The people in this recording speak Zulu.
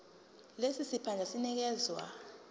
lesi siphandla sinikezwa